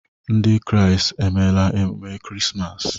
Ndị kraịst emela emume Krismas.